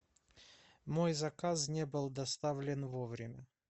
мой заказ не был доставлен вовремя